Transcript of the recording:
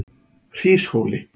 Hríshóli